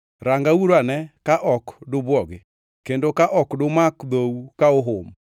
Rangauru ane ka ok dubwogi; kendo ka ok dumak dhou ka uhum.